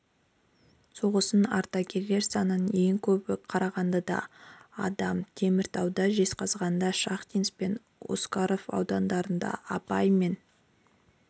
соғысының ардагерлер санының ең көбі қарағандыда адам теміртауда жезқазғанда шахтинск пен осакаров ауданында абай мен